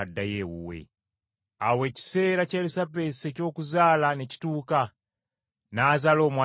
Awo ekiseera kya Erisabesi eky’okuzaala ne kituuka, n’azaala omwana wabulenzi.